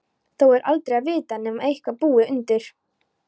Þó er aldrei að vita, nema eitthvað búi undir.